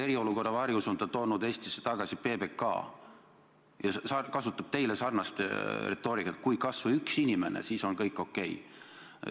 Eriolukorra varjus on ta toonud Eestisse tagasi PBK ja kasutab teile sarnast retoorikat: kui on kas või üks inimene, siis on kõik okei.